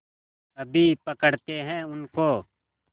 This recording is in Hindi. अभी पकड़ते हैं उनको